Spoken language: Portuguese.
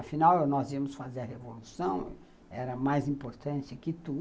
Afinal, nós íamos fazer a Revolução, era mais importante do que tudo.